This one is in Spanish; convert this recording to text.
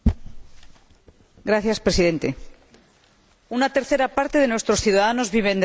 Señor Presidente, una tercera parte de nuestros ciudadanos viven en la costa.